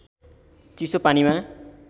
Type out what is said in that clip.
चिसो पानीमा